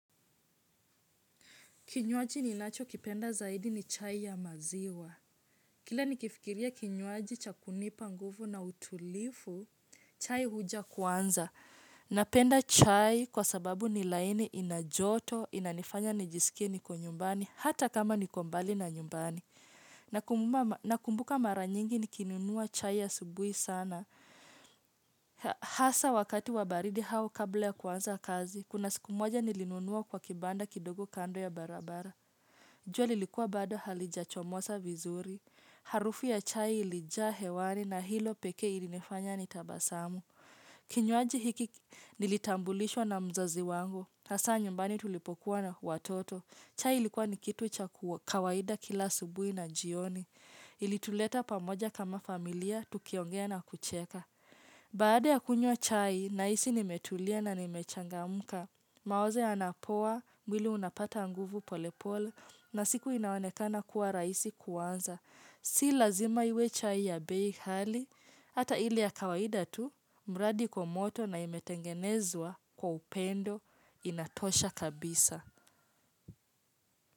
Kinywaji ninachokipenda zaidi ni chai ya maziwa. Kila nikifikiria kinywaji cha kunipa nguvu na utulivu, chai huja kwanza. Napenda chai kwa sababu ni laini ina joto, inanifanya nijisike niko nyumbani, hata kama niko mbali na nyumbani. Na kumbuka mara nyingi nikinunua chai asubuhi sana. Hasa wakati wa baridi au kabla ya kuanza kazi, kuna siku moja nilinunua kwa kibanda kidogo kando ya barabara. Jua lilikua bado halijachomoza vizuri, harufu ya chai ilijaa hewani na hilo pekee ilinifanya nitabasamu. Kinywaji hiki nilitambulishwa na mzazi wangu, hasa nyumbani tulipokuwa watoto. Chai ilikuwa ni kitu cha kawaida kila asubuhi na jioni, ilituleta pamoja kama familia tukiongea na kucheka. Baada ya kunywa chai, nahisi nimetulia na nimechangamka, mawazo yanapoa mwili unapata nguvu polepole na siku inaonekana kuwa rahisi kuanza. Si lazima iwe chai ya bei kali, ata ile ya kawaida tu, mradi iko moto na imetengenezwa kwa upendo inatosha kabisa.